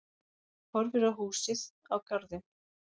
Horfir á húsið, á garðinn.